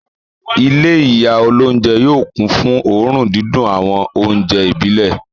Ilé ìyá olóúnjẹ yóò kún fún òórùn dídùn àwọn oúnjẹ ìbílẹ̀.